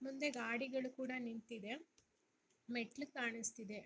ಮುಂದೆ ಗಾಡಿಗಳು ಕೂಡ ನಿಂತಿದೆ ಮೆಟ್ಟಿಲು ಕಾಣಿಸ್ತಾ ಇದೆ